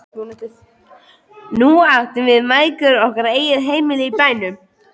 Nú áttum við mæðgur okkar eigið heimili í bænum.